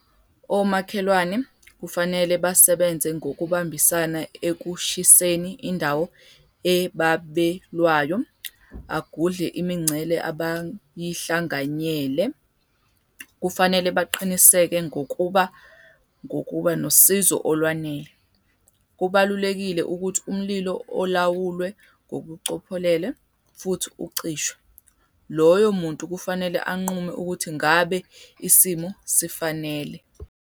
Omakhelwane kufanele basebenze ngokubambisana ekushiseni indawo ebabelwayo agudle imincele abayihlanganyele. Kufanele baqiniseke ngokuba ngokuba nosizo olwanele. Kubalulekile ukuthi umlilo olawulwe ngokucophelela futhi ucishwe. Loyo muntu kufanele anqume ukuthi ngabe isimo sifanele.